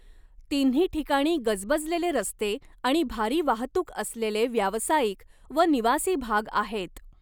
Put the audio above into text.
तिन्ही ठिकाणी गजबजलेले रस्ते आणि भारी वाहतूक असलेले व्यावसायिक व निवासी भाग आहेत.